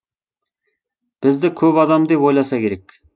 бізді көп адам деп ойласа керек